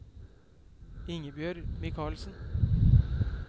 Ingebjørg Michaelsen